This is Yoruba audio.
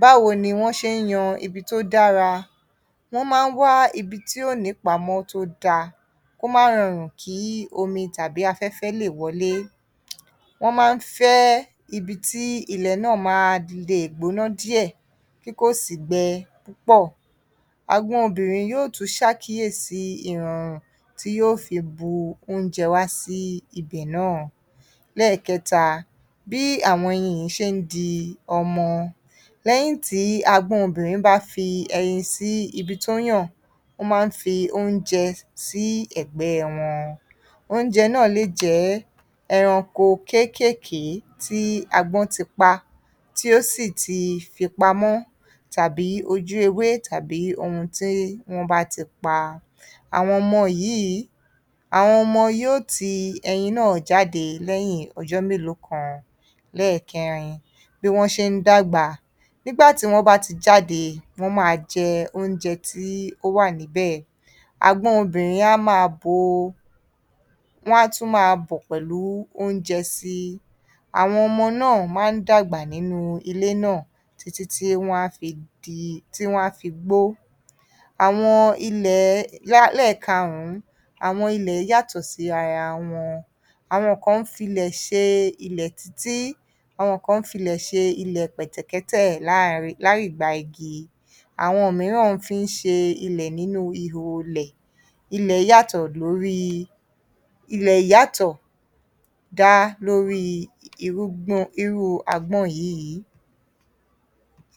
báwo ni wọ́n ṣe ń yan ibi tó dára? Wọ́n máa ń wá ibi tí ó ní ìpamọ́ tó dáa kó má rọrùn kí omi tàbí afẹ́fẹ́ lè wọlé. Wọ́n máa ń fẹ́ ibi tí ilẹ̀ náà máa le gbóná díẹ̀ tí kò sì gbẹ púpọ̀. Agbọ́n obìnrin yó tún ṣàkíyèsí ìrọ̀rùn tí yó fi bu oúnjẹ wá sí ibẹ̀ náà. Lẹ́ẹ̀kẹta, bí àwọn ẹyin yìí ṣe ń di ọmọ. Lẹ́yìn tí agọ́n obìnrin bá fi ẹyin sí ibi tó yàn, ó máa ń fi oúnjẹ sí ẹ̀gbẹ́ wọn. Oúnjẹ náà lè jẹ́ ẹranko kéékèèké tí agbọ́n ti pa, tí ó sì ti fi pamọ́ tàbí ojú ewé, tàbí ohun tí wọ́n bá ti pa. Àwọn ọmọ yíìí, àwọn ọmọ yó ti ẹyin náà jáde lẹ́yìn ọjọ́ mélòó kan. Lẹ́ẹ̀kẹ́rin, bí wọ́n ṣe ń dàgbà. Nígbà tí wọ́n bá ti jáde, wọ́n máa jẹ oúnjẹ tí ó wà níbẹ̀. Agbọ́n obìnrin á máa bo, wọ́n á tún máa bọ̀ pẹ̀lú oúnjẹ síi. Àwọn ọmọ náà máa ń dàgbà nínú ilé náà títí tí wón á fi di, tí wọ́n a fi gbó. Àwọn ilẹ̀, ẹlẹ́ẹ̀karùn-ún, àwọn ilẹ̀ yàtọ̀ sí ara wọn. Àwọn kan ń fi ilẹ̀ ṣe ilẹ̀ títí, àwọn kan ń fi ilẹ̀ ṣe ilẹ̀ pẹ̀tẹ̀kẹ́tẹ̀ láàá, láì gba igi. Àwọn mìíràn fi ń ṣe ilẹ̀ nínú ihò ilẹ̀. Ilẹ̀ yàtọ̀ lórí, ilẹ̀ yàtọ̀ dá lórí irúgbọ́n, irú agbọ́n yíìí.